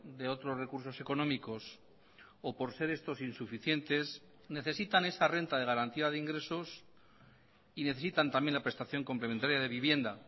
de otros recursos económicos o por ser estos insuficientes necesitan esa renta de garantía de ingresos y necesitan también la prestación complementaria de vivienda